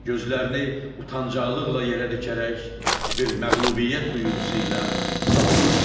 Gözlərini utancaqlıqla yerə dikərək, bir məğlubiyyət duyğusu ilə salondan çıxdı.